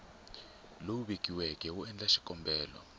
lowu vekiweke wo endla xikombelo